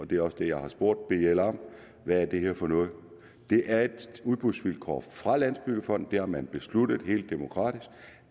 det er også det jeg har spurgt bl om hvad er det her for noget at det er et udbudsvilkår fra landsbyggefondens har man besluttet helt demokratisk